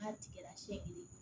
N'a tigɛra seegin ye